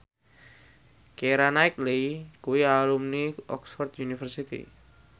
Keira Knightley kuwi alumni Oxford university